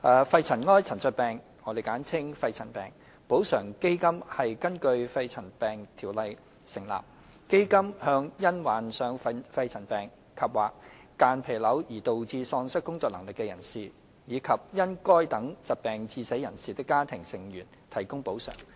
肺塵埃沉着病補償基金根據《條例》成立，向因患上肺塵埃沉着病及/或間皮瘤而導致喪失工作能力的人士，以及因該等疾病致死人士的家庭成員提供補償。